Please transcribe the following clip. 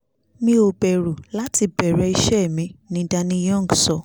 mi ò bẹ̀rù láti bẹ̀rẹ̀ iṣẹ́ mi ni danny young sọ